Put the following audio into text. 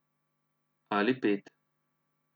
Ali pet.